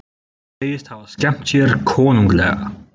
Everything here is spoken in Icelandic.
Hún segist hafa skemmt sér konunglega